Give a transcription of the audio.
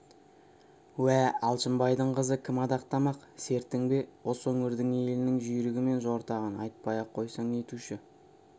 уә алшынбайдың қызы кім адақтамақ сертің бе осы өңірдің елінің жүйрігі мен жортағын айтпай-ақ қойсаң нетуші